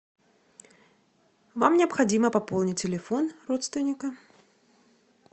вам необходимо пополнить телефон родственника